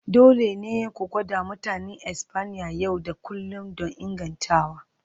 Dole ne ku gwada Mutanen Espanya yau da kullun don ingantawa.